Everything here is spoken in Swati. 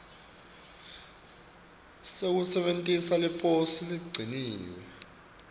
sekusebentisa liposi leligciniwe